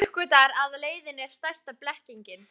Uppgötvar að leitin er stærsta blekkingin.